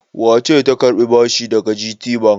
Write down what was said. Wace ce ta karbi bashi daga GTBank?